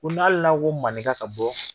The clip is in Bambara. Ko n'a hali n'a ko maninka ka bɔ